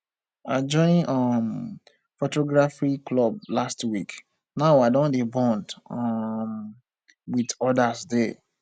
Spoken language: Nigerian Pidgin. i join um photography club last week now i don dey bond um wit odas there